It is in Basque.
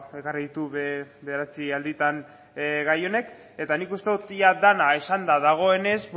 ekarri ditu bederatzi alditan gai hauek eta nik uste dut ia dena esanda dagoenez